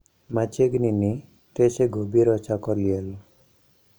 Machiegnini techego biro chako liel.